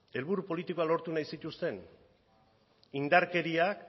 helburu politikoak lortu nahi zituzten indarkeria